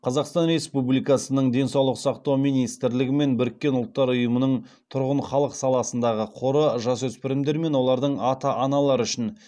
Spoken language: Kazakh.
қазақстан республикасының денсаулық сақтау министрлігі мен біріккен ұлттар ұйымының тұрғын халық саласындағы қоры жасөспірімдер мен олардың ата аналары үшін